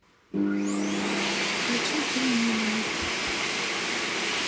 включи фильм нимани